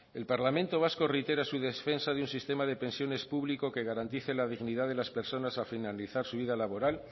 el parlamento vasco reitera su defensa de un sistema de pensiones público que garantice la dignidad de las personas al finalizar su vida laboral